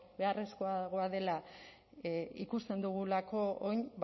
beharrezkoagoa dela ikusten dugulako orain